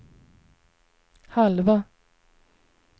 halva